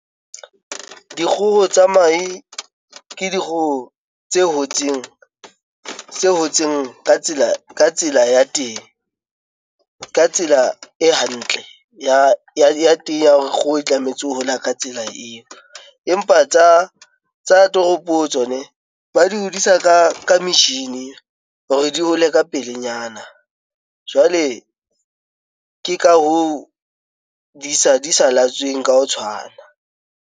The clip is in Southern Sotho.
Dikgoho tsa mahe ke dikgoho tse hotseng tse hotseng ka tsela ka tsela ya teng, ka tsela e hantle ya ya teng ya hore kgoho e tlametse ho hola ka tsela eo. Empa tsa ng tsa toropo tsone ba di hodisa ka ka metjhini hore di hole ka pelenyana jwale ke ka ho disa di sa laetsweng ka ho tshwana.